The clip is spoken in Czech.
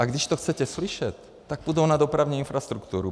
A když to chcete slyšet, tak půjdou na dopravní infrastrukturu.